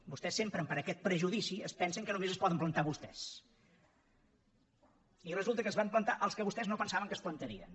vostès sempre per aquest prejudici es pensen que només es poden plantar vostès i resulta que es van plantar els que vostès no pensaven que es plantarien